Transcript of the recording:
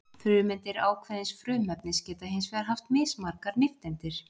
Frumeindir ákveðins frumefnis geta hins vegar haft mismargar nifteindir.